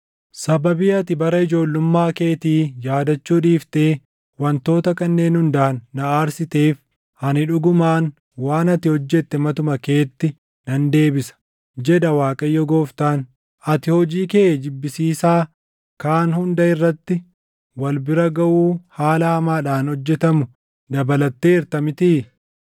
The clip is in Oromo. “ ‘Sababii ati bara ijoollummaa keetii yaadachuu dhiiftee wantoota kanneen hundaan na aarsiteef, ani dhugumaan waan ati hojjette matuma keetti nan deebisa, jedha Waaqayyo Gooftaan. Ati hojii kee jibbisiisaa kaan hunda irratti wal bira gaʼuu haala hamaadhaan hojjetamu dabalatteerta mitii?